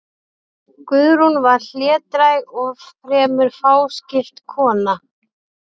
Guðrún var hlédræg og fremur fáskiptin kona.